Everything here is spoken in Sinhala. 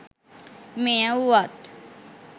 මෙය වුවත්